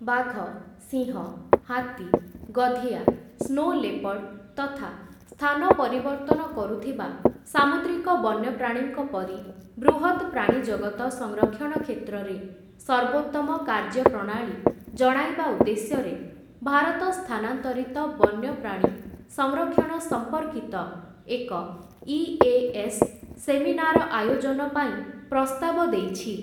ବାଘ, ସିଂହ, ହାତୀ, ଗଧିଆ, ସ୍ନୋ ଲେପର୍ଡ଼ ତଥା ସ୍ଥାନ ପରିବର୍ତ୍ତନ କରୁଥିବା ସାମୁଦ୍ରିକ ବନ୍ୟପ୍ରାଣୀଙ୍କ ପରି ବୃହତ୍‌ ପ୍ରାଣୀଜଗତ ସଂରକ୍ଷଣ କ୍ଷେତ୍ରରେ ସର୍ବୋତ୍ତମ କାର୍ଯ୍ୟପ୍ରଣାଳୀ ଜଣାଇବା ଉଦ୍ଦେଶ୍ୟରେ ଭାରତ ସ୍ଥାନାନ୍ତରିତ ବନ୍ୟପ୍ରାଣୀ ସଂରକ୍ଷଣ ସମ୍ପର୍କିତ ଏକ ଇ.ଏ.ଏସ୍‌. ସେମିନାର ଆୟୋଜନ ପାଇଁ ପ୍ରସ୍ତାବ ଦେଇଛି ।